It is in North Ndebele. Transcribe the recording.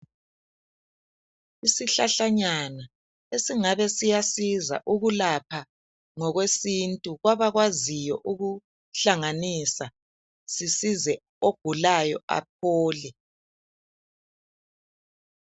Isihlahlanyana esingabe siyasiza ukulapha ngokwesintu kwabakwaziyo ukuhlanganisa, sisize ogulayo aphole.